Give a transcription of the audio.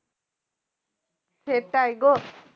সেটাই গো